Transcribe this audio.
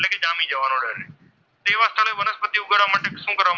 કરવા માટે શું કરવા,